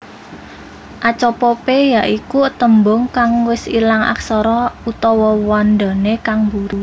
Apocope ya iku tembung kang wis ilang aksara/wandané kang buri